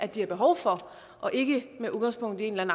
de har behov for og ikke med udgangspunkt i en